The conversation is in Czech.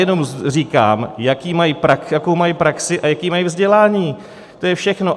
Jenom říkám, jakou mají praxi a jaké mají vzdělání, to je všechno.